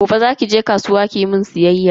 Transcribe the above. Gobe zaki je kasuwa kimun siyayya.